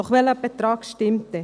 Doch welcher Betrag stimmt dann?